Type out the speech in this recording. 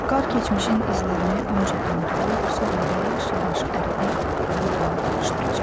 Qar keçmişin izlərini öncə dondurub, sonra yavaş-yavaş əridib torpağa qarışdıracaq.